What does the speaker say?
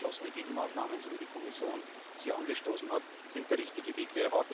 Und deswegen sind geschlossene Gegenmaßnahmen, so wie die Kommission sie angestoßen hat, der richtige Weg.